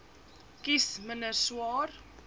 kies minder swaar